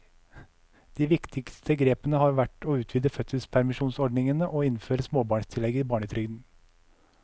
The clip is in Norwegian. De viktigste grepene har vært å utvide fødselspermisjonsordningene og innføre småbarnstillegget i barnetrygden.